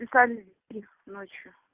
писали стих ночью